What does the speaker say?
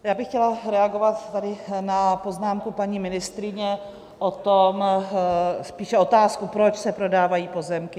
Já bych chtěla reagovat tady na poznámku paní ministryně o tom, spíše otázku, proč se prodávají pozemky.